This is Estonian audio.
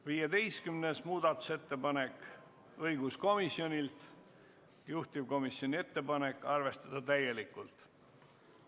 15. muudatusettepanek on õiguskomisjonilt, juhtivkomisjoni ettepanek on arvestada seda täielikult.